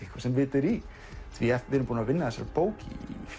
eitthvað sem vit er í því að við erum búnir að vinna að þessari bók í